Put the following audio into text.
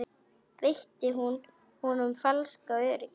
Veitti hún honum falskt öryggi?